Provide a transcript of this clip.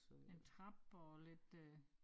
En trappe og lidt øh